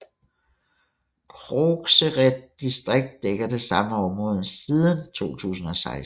Krogsered distrikt dækker det samme område siden 2016